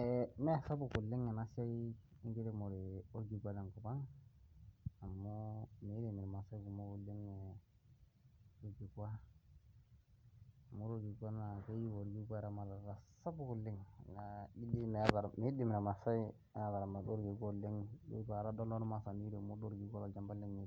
Eeh mee sapuk oleng enaa siai enkiremore orkikua tenkop ang amu mirem irmaasai kumok oleng orkikua. Amu wore orkikua naa keyeu orkikua eramatata sapuk oleng naa ijo doi midim irmaasai ataramata orkikua oleng , ijo itu aikata adol ormaasani oiremo orkikua toopchampa lenye